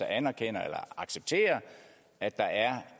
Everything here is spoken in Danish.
anerkender eller accepterer at der er